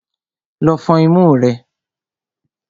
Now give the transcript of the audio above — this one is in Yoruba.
Lọ fọn imú rẹ!